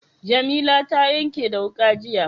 Jamila ta yanke da wuƙa, jiya.